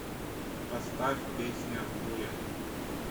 поставь песня буря